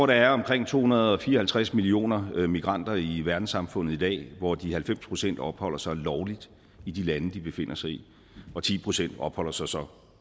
der er omkring to hundrede og fire og halvtreds millioner migranter i verdenssamfundet i dag hvor de halvfems procent opholder sig lovligt i de lande de befinder sig i og ti procent opholder sig så